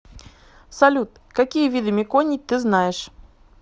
салют какие виды меконий ты знаешь